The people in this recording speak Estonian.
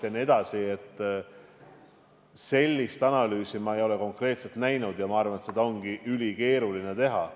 Sellist konkreetset analüüsi ma ei ole näinud ja ma arvan, et seda ongi ülikeeruline teha.